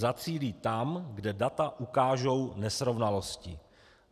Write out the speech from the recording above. Zacílí tam, kde data ukážou nesrovnalosti."